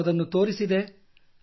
ನಾನು ಅದನ್ನು ತೋರಿಸಿದೆ